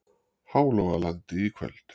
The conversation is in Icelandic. Hálogalandi í kvöld.